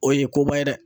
O ye koba ye dɛ